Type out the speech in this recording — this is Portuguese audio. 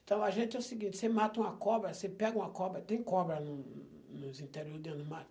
Então a gente é o seguinte, você mata uma cobra, você pega uma cobra, tem cobra no nos interior dentro do